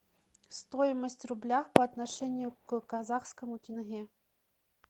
стоимость рубля по отношению к казахскому тенге